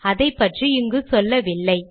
அதைப்பற்றி இங்கு சொல்லவில்லை